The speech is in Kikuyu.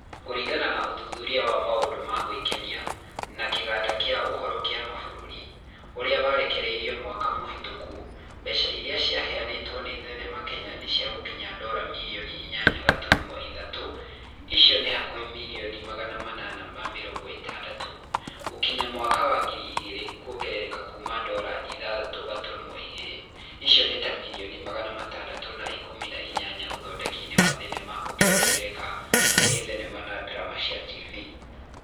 Kũringana na ũthuthuria wa maũndũ ma gũĩkenia, na kĩganda kĩa ũhoro kĩa mabũrũri, ũrĩa warekereirio mwaka mũhĩtũku mbeca iria cirehetwo nĩ thenema Kenya nĩcigũkinya dora mirioni inyanya gaturumo ithathatũ (icio nĩ hakuhĩ mirioni magana manana na mĩrongo ĩtandatũ) gũgĩkinya mwaka wa ngiri igĩrĩ kuongerereka kũma dora ithathatũ gaturumo igiri(icio ni ta mirioni magana matandatu na ikumi na inyanya uthondeki wa thenema ukiongerereka kuri thenema na drama cia tibii.